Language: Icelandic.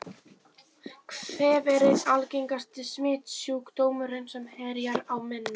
Kvef er einn algengasti smitsjúkdómurinn sem herjar á mennina.